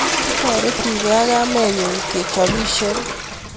Kitoretikei ak kamenyu kechopisie